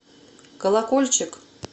колокольчик